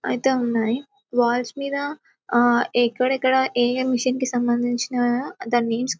ఐతే ఉన్నాయి వాల్స్ మీద ఎక్కడెక్కడ ఏ ఏ మిషన్ కి సంబందించిన దాని నేమ్స్ --